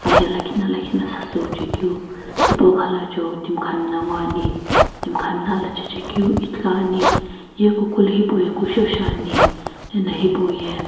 lakhina lakhina satsi uchaekeu tipo khalachoui timi khamna nguo ane timi khamna ala chae chae keu ithulu ane.